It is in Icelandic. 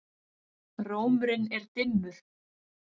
Rómurinn er dimmur.